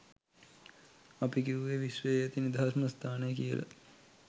අපි කිව්වෙ විශ්වයේ ඇති නිදහස්ම ස්ථානය කියල.